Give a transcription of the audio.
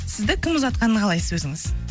сізді кім ұзатқанын қалайсыз өзіңіз